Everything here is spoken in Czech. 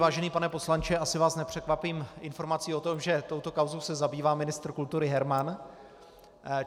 Vážený pane poslanče, asi vás nepřekvapím informací o tom, že touto kauzou se zabývá ministr kultury Herman.